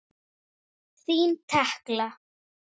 Þín Tekla.